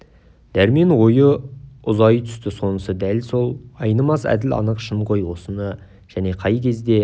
дәрмен ойы ұзай түсті сонысы дәл ғой айнымас әділ анық шын ғой осыны және қай кезде